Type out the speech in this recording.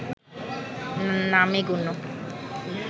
নামে গণ্য